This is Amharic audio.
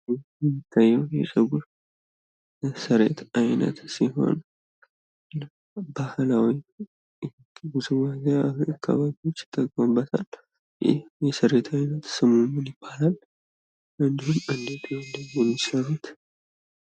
ይህ የሚታየው የፀጉር የስሪት አይነት ሲሆን ባህላዊ ውዝዋዜዎች አካባቢ ይጠቀሙበታል። ይህ መሰረታዊ ስሙ ምን ይባላል? እንዲሁም እንዴት ነው የሚሰሩት?